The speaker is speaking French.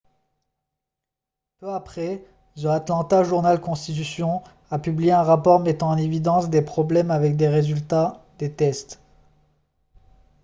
peu après the atlanta journal-constitution a publié un rapport mettant en évidence des problèmes avec les résultats des tests